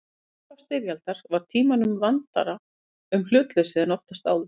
Við upphaf styrjaldar var Tímanum vandara um hlutleysið en oftast áður.